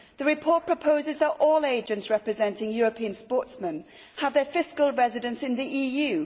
The report proposes that all agents representing European sportsmen have their fiscal residence in the EU.